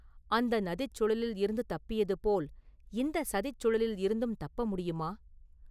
அந்த நதிச் சுழலிலிருந்து தப்பியது போல் இந்தச் சதிச் சுழலிலிருந்தும் தப்ப முடியுமா?